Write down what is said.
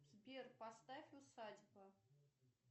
сбер поставь усадьба